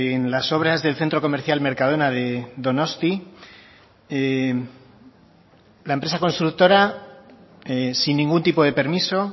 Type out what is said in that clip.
en las obras del centro comercial mercadona de donosti la empresa constructora sin ningún tipo de permiso